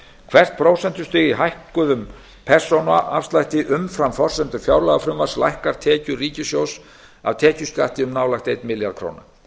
hvert prósentustig í hækkuðum persónuafslætti umfram forsendur fjárlagafrumvarps lækkar tekjur ríkissjóðs af tekjuskatti um nálægt einn milljarð króna